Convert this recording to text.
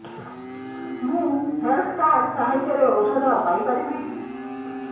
ମୁଁ health card ସାହାଯ୍ୟରେ ଔଷଧ ପାଇ ପାରିବି